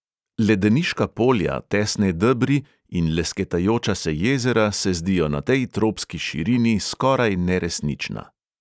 Ledeniška polja, tesne debri in lesketajoča se jezera se zdijo na tej tropski širini skoraj neresnična.